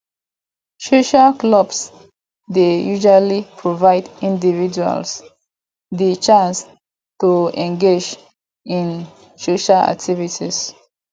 social clubs dey usually provide individuals di chance to engage in social activities